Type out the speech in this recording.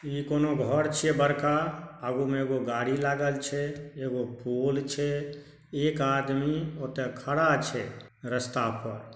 ई कोनो घर छीये बड़का आगु मे एगो गाड़ी लागल छै एगो पोल छै एक आदमी ओता खड़ा छै रस्ता पर ---